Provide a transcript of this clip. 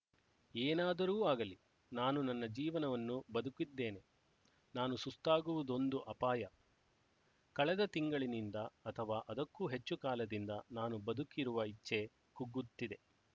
ಏನಾದರೂ ಆಗಲಿ ನಾನು ನನ್ನ ಜೀವನವನ್ನು ಬದುಕಿದ್ದೇನೆ ನಾನು ಸುಸ್ತಾಗುವುದೊಂದು ಅಪಾಯ ಕಳೆದ ತಿಂಗಳಿನಿಂದ ಅಥವಾ ಅದಕ್ಕೂ ಹೆಚ್ಚು ಕಾಲದಿಂದ ನಾನು ಬದುಕಿರುವ ಇಚ್ಛೆ ಕುಗ್ಗುತ್ತಿದೆ